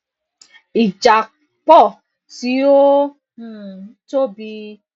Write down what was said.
ìjápọ tí ó ó um tóbi